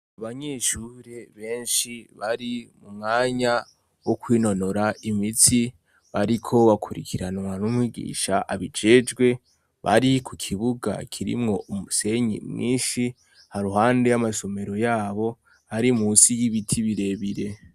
Abanyishure benshi bari mu mwanya wo kwinonora imitsi bariko bakurikiranwa n'umwigisha abijejwe bari ku kibuga kirimwo umusenyi mwinshi ha ruhande y'amashomero yabo ari musi y'ibiti birebire.